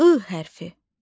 I hərfi.